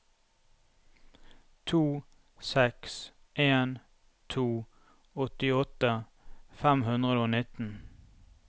to seks en to åttiåtte fem hundre og nitten